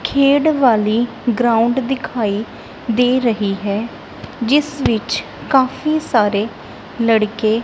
ਖੇਡ ਵਾਲੀ ਗਰਾਊਂਡ ਦਿਖਾਈ ਦੇ ਰਹੀ ਹੈ ਜਿੱਸ ਵਿੱਚ ਕਾਫੀ ਸਾਰੇ ਲੜਕੇ --